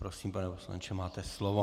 Prosím, pane poslanče, máte slovo.